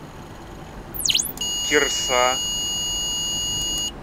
кирса